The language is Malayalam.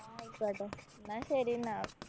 ആ ആയിക്കോട്ടെ. എന്നാ ശരി എന്നാ.